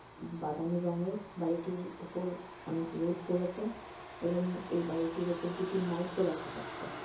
বাদামী রঙ এর বাড়িটির ওপর অনেক রোদ পড়েছে |এবং এই বাড়িটির ওপর দুটি মাইক ও দেখা যাচ্ছে।